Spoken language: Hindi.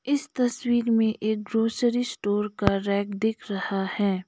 इस तस्वीर में एक ग्रोसरी स्टोर का रैक दिख रहा है।